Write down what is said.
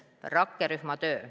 Rakkerühma töö.